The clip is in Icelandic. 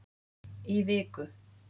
Í viku.